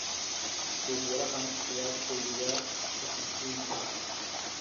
Buug-yarahaan ayaa kaydiyaa wax muhiim ah.